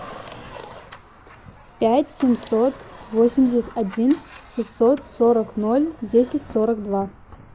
пять семьсот восемьдесят один шестьсот сорок ноль десять сорок два